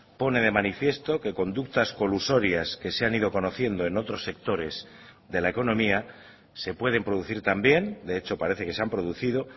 pone de manifiesto que conductas colusorias que se han ido conociendo en otros sectores de la economía se pueden producir también de hecho parece que se han producido